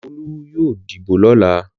Olú yóò dìbò lọ́la.